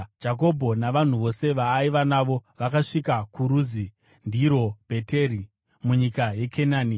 Jakobho navanhu vose vaaiva navo vakasvika kuRuzi (ndirowo Bheteri) munyika yeKenani.